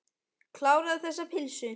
Kláraðu þessa pylsu.